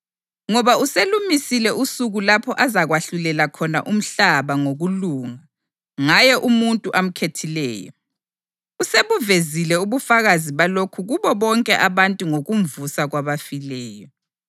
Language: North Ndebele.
Ngoba uselumisile usuku lapho azakwahlulela khona umhlaba ngokulunga ngaye umuntu amkhethileyo. Usebuvezile ubufakazi balokhu kubo bonke abantu ngokumvusa kwabafileyo.”